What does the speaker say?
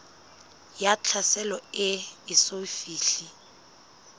ya tlhaselo e eso fihle